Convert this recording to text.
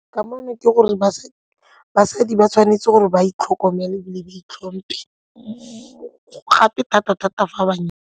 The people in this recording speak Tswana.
Kamano ke gore basadi ba tshwanetse gore ba itlhokomele ebile ba itlhomphe gape thata-thata fa ba .